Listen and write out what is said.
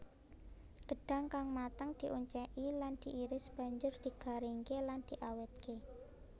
Gedhang kang mateng dioncéki lan diiris banjur digaringké lan diawétké